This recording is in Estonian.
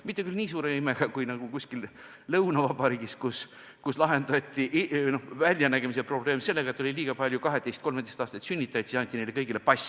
Mitte küll nii suure imega kui kuskil lõunavabariigis, kus lahendati üldpildi väljanägemise probleem sellega, et kui neil oli liiga palju 12–13-aastaseid sünnitajaid, siis anti neile kõigile pass.